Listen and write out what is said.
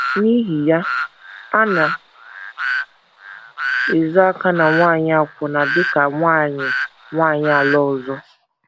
N’ihi ya, a na - ezo aka na nwanyị akwụna dị ka “ nwanyị “ nwanyị ala ọzọ. ”